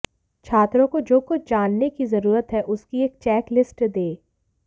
छात्रों को जो कुछ जानने की जरूरत है उसकी एक चेकलिस्ट दें